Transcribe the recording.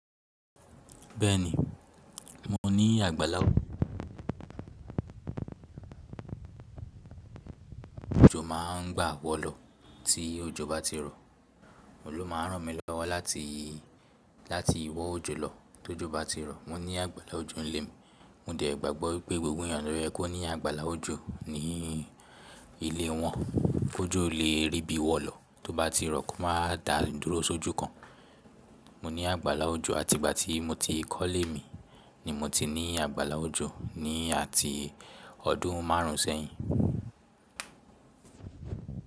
Bẹ́ẹ̀ni, mo ní àgbàlá òjò má ń gba wọ́ lọ tí òjò bá ti rọ̀. Òun ló má ń ràn mí lọ́wọ́ láti, láti wọ́ òjò lọ tóòjú bá ti rọ̀. Mo ní àgbàlá òjò nílé mi. Mo dẹ̀ gbàgbọ́ pé gbogbo ènìyàn nílẹ̀ kò ní àgbàlá òjò ní ilé wọn. Kó jọ lè rí bí wọ́n lọ tó bá ti rọ́ kó má dá ìdúró sójú kan. Mo ní àgbàlá òjò àti ìgbà tí mo ti kólé mi ni mo ti ní àgbàlá òjò ni àti ọdún márùn ún sẹ́yìn.